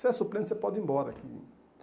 Se é suplente, você pode ir embora que.